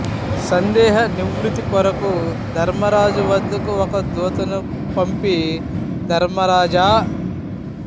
సందేహ నివృత్తి కొరకు ధర్మరాజు వద్దకు ఒక దూతను పంపి ధర్మరాజా